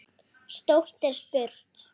Stórt er spurt.